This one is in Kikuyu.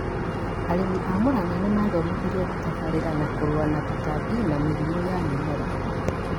Arĩmi a Murang'a nĩmathomithirio gũtabarĩra na kũrũa na tũtambi na mĩrimũ ya mĩmera